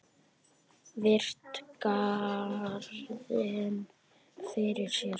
Virti garðinn fyrir sér.